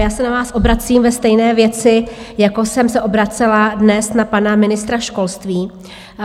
Já se na vás obracím ve stejné věci, jako jsem se obracela dnes na pana ministra školství.